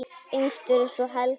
Yngstur er svo Helgi.